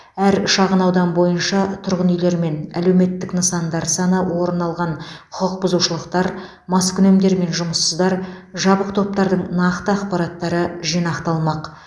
әр шағынаудан бойынша тұрғын үйлермен әлеуметтік нысандар саны орын алған құқықбұзушылықтар маскүнемдер мен жұмыссыздар жабық топтардың нақты ақпараттары жинақталмақ